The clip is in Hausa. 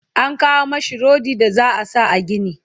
an kawo mashi rodi da za'a sa a gini